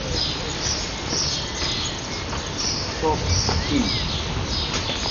софт скин